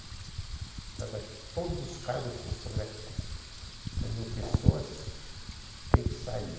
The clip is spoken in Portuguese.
Agora vai todos os cargos que o Sodré nomeou pessoas, tem que sair.